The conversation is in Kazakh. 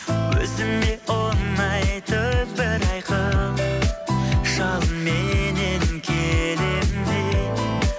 өзіме ұнайтын бір айқын жалынменен келемін мен